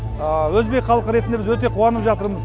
өзбек халқы ретінде біз өте қуанып жатырмыз